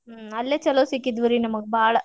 ಹ್ಮ್ ಅಲ್ಲೆ ಚೊಲೋ ಸಿಕ್ಕಿದ್ವಿ ರೀ ನಮ್ಗ ಬಾಳ.